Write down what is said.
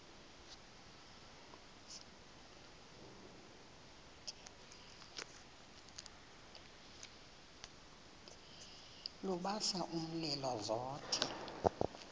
lubasa umlilo zothe